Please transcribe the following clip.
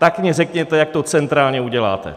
Tak mně řekněte, jak to centrálně uděláte.